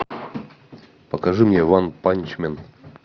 покажи мне ванпанчмен